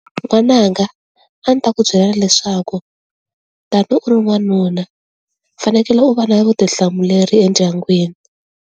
N'wananga a ndzi ta ku byela leswaku tani u ri n'wanuna u fanekele u va na vutihlamuleri endyangwini.